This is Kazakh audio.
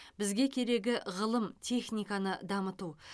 бізге керегі ғылым техниканы дамыту